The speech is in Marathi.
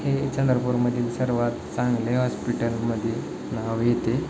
हे चंद्रपूर मधील सर्वात चांगले हॉस्पिटल मध्ये नाव येते.